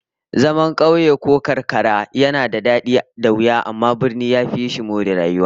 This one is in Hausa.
Zaman kauye ko karkara ko rugage yana da dadi da wuya, amma birni ya fi more rayuwa